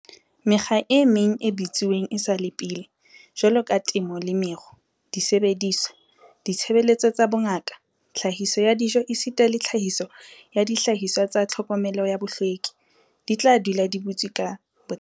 "Mekga e meng e butsweng esale pele, jwaloka temo le meru, disebediswa, ditshebeletso tsa bongaka, tlhahiso ya dijo esita le tlhahiso ya dihlahiswa tsa tlhokomelo ya bohlweki, di tla dula di butswe ka botlalo."